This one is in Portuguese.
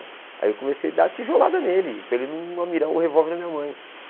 Aí eu comecei a dar tijolada nele, para ele não mirar o revólver na minha mãe.